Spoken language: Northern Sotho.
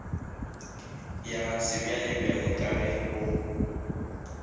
ya sebjalebjale ka ge go